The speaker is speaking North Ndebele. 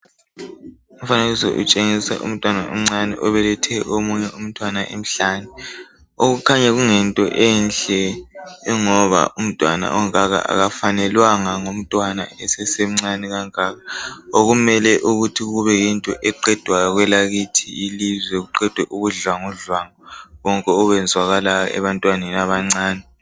Umfanekiso utshengisa umntwana omncane obelethe omunye umntwana emhlane. Okukhanya kungento enhle ngoba umntwana ongaka akafanelwanga ngumntwana esesemncane kangaka okumele ukuthi kube yinto eqedwayo kwelakithi ilizwe kuqedwe ubudlwangudlwangu bonke obenzakalayo ebantwaneni abancane.